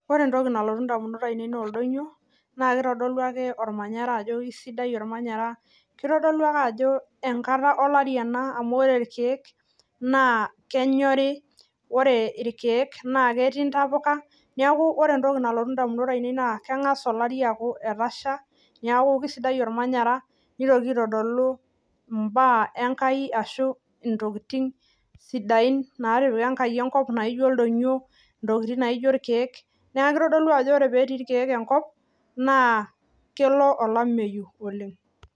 Ore entoki nalotu indamunot ainei naa oldonyo naa kitodolu ake ormanyara ajo isidai ormanyara. Kitodolu ake ajo enkata olari ena amu ore irkiek naa kenyori, ore irkiek naa ketii intapuka. Niaku ore entoki nalotu indamunot ainei naa keng'as olari aaku etasha, niaku kisidai ormanyara. Nitoki aitodolu imbaak enkai ashu intokiting sidain naatipika enkai enkop naijo ildonyo, intokiting naijo irkiek. Naa kitodolu ajo ore pee etii irkiek enkop naa kelo olameyu oleng'